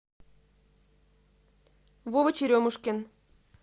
вова черемушкин